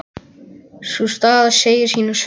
Sú staða segir sína sögu.